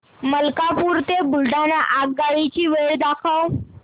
मलकापूर ते बुलढाणा आगगाडी ची वेळ दाखव